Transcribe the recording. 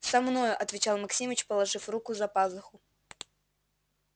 со мною отвечал максимыч положив руку за пазуху